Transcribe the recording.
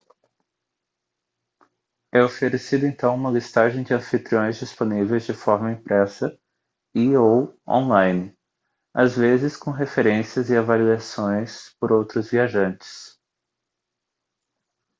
é oferecida então uma listagem de anfitriões disponíveis de forma impressa e/ou online às vezes com referências e avaliações por outros viajantes